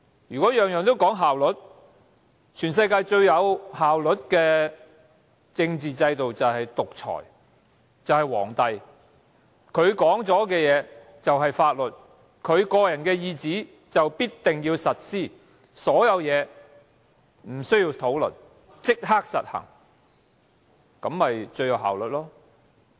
如果每件事都只求效率，全世界最有效率的政治制度便是獨裁和帝制，皇帝說的話便是法律，他的聖旨必定要實施，所有事情無須討論，立即實行，這樣最有效率。